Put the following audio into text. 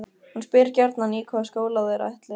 Hún spyr gjarnan í hvaða skóla þeir ætli.